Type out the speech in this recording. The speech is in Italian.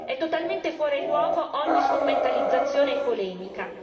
È totalmente fuori luogo ogni strumentalizzazione e polemica!